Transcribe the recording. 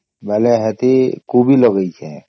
ବୋଲେ ସେଠି କୋବି ଲଗେଇଛେ